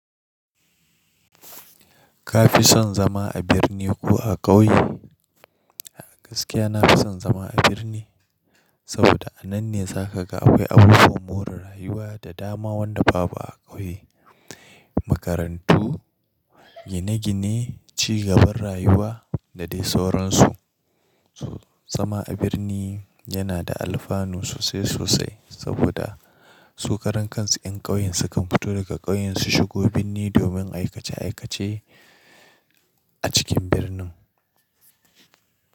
Ka fi son zama a birni ko a ƙauye? Gaskiya na fi son zama a birni, saboda a nan ne za ka ga akwai abubuwan more rayuwa da dama wanda babu a ƙauye, makarantu, gine-gine, cigaban rayuwa da dai sauransu. Zama a birni yana da alfanu sosai sosai saboda su karen kansu 'yan ƙauyen su kan fito daga ƙauyen su shigo birni domin aikace aikace a cikin birnin.